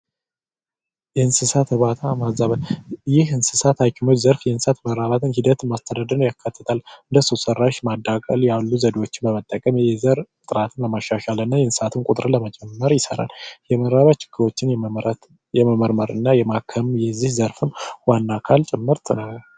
የእንስሳት እርባታ ህክምና ይህ የእንስሳት እርባታ ህክምና የእንስሳት ሀኪሙ እንስሳትን ማስተዳደርን ያካተተ ሰው ሰራሽ ዘርፍ የእንስሳት ቁጥር ለመጨመር ይሰራል እንስሳቶችን የመመርመርና የማከም የዚህ ዘርፉ ዋና አካል ጭምርት ነው።